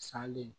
Sali